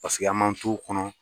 Paseke an m'an t'u kɔnɔ.